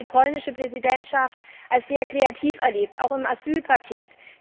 Ich habe die polnische Präsidentschaft als sehr kreativ erlebt, auch beim Asyl Paket.